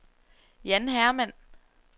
Jan Hermann